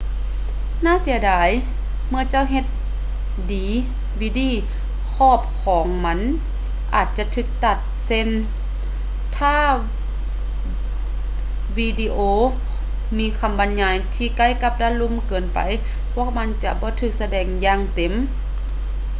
ໜ້າເສຍດາຍ ເມື່ອເຈົ້າເຮັດດີວີດີ ຂອບຂອງມັນອາດຈະຖືກຕັດເຊັ່ນກັນ ແລະ ຖ້າວິດີໂອມີຄຳບັນຍາຍທີ່ໃກ້ກັບດ້ານລຸ່ມເກີນໄປ ພວກມັນຈະບໍ່ຖືກສະແດງຢ່າງເຕັມ